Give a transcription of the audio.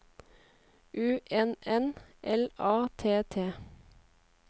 U N N L A T T